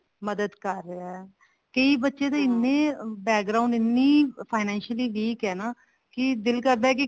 ਮਦਦ ਕਰ ਰਿਹਾ ਕਈ ਬੱਚੇ ਦੀ ਇੰਨੀ background ਇੰਨੀ financial weak ਹੈ ਨਾ ਦਿਲ ਕਰਦਾ ਹੈ ਕੀ